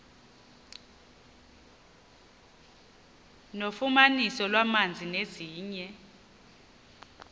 nofumaniso lwamanzi nezinye